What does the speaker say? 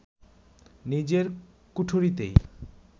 নিজের কুঠুরিতেই